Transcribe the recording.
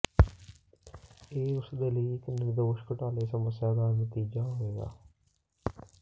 ਇਹ ਉਸ ਦੇ ਲਈ ਇੱਕ ਨਿਰਦੋਸ਼ ਘੁਟਾਲੇ ਸਮੱਸਿਆ ਦਾ ਨਤੀਜਾ ਹੋਵੇਗਾ